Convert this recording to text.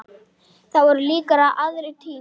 Það voru líka aðrir tímar.